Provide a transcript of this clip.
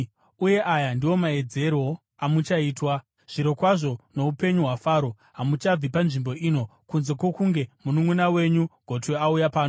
Uye aya ndiwo maedzerwo amuchaitwa: Zvirokwazvo noupenyu hwaFaro, hamuchabvi panzvimbo ino kunze kwokunge mununʼuna wenyu gotwe auya pano.